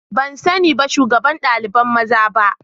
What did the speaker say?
Ban sani ba shugaban daliban maza ba.